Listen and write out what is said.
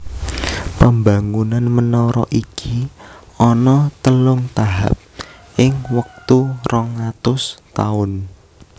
Pembangunan menara iki ana telung tahap ing wektu rong atus taun